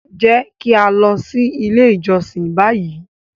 Jẹ ki a lọ si ile ijọsin bayi!